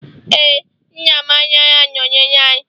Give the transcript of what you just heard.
ee, nne m anaghị anọnyere anyị